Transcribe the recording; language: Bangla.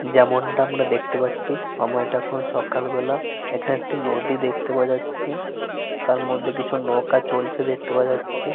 যেমনটা আমরা দেখতে পাচ্ছি সময়টা এখন সকালবেলা। এখানে একটি নদী দেখতে পাওয়া যাচ্ছে। তার মধ্যে কিছু নৌকা চলছে দেখতে পাওয়া যাচ্ছে।